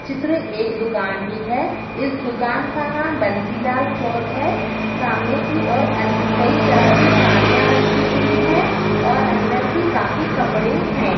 चित्र एक दुकान की है इस दुकान का नाम बंसीलाल क्लॉथ है सामने की और अन कई तरह की साड़िया रखी हुई है और अंदर भी काफी कपड़े है।